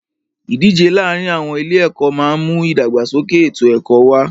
Ìdíje láàárin àwọn ilé ẹ̀kọ́ máà ń mú ìdàgbàsókè ètò ẹ̀kọ́ wá.